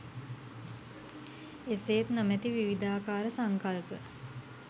එසේත් නොමැති විවිධාකාර සංකල්ප